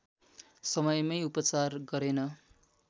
समयमै उपचार गरेन